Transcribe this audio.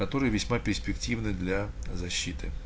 который весьма перспективны для защиты